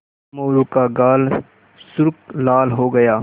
मोरू का गाल सुर्ख लाल हो गया